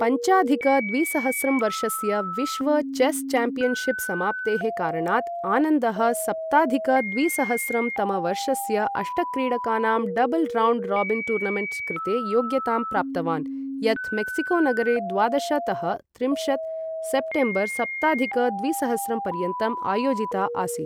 पञ्चाधिक द्विसहस्रं वर्षस्य विश्व चेस् चाम्पियन्शिप् समाप्तेः कारणात्, आनन्दः सप्ताधिक द्विसहस्रं तमवर्षस्य, अष्टक्रीडकानां डबल् रौण्ड् राबिन् टूर्नमेण्ट् कृते योग्यतां प्राप्तवान्, यत् मेक्सिकोनगरे द्वादश तः त्रिंशत् सेप्टेम्बर् सप्ताधिक द्विसहस्रं पर्यन्तं आयोजिता आसीत्।